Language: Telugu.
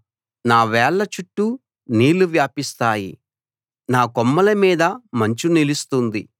నా వేళ్ల చుట్టూ నీళ్లు వ్యాపిస్తాయి నా కొమ్మల మీద మంచు నిలుస్తుంది